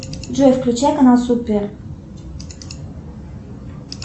джой включай канал супер